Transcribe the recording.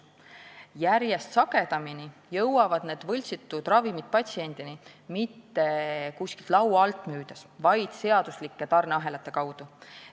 Järjest sagedamini jõuavad võltsitud ravimid patsiendi kätte mitte kuskilt laua alt, vaid seaduslike tarneahelate kaudu.